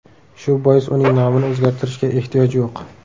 Shu bois uning nomini o‘zgartirishga ehtiyoj yo‘q.